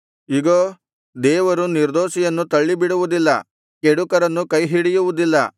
ಇಗೋ ದೇವರು ನಿರ್ದೋಷಿಯನ್ನು ತಳ್ಳಿಬಿಡುವುದಿಲ್ಲ ಕೆಡುಕರನ್ನು ಕೈಹಿಡಿಯುವುದಿಲ್ಲ